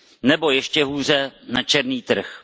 Nebo ještě hůře na černý trh.